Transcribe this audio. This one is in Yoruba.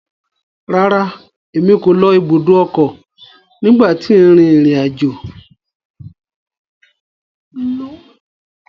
Rárá, Èmí ko ló ibùdó ọkọ nigba ti n rin irin ajo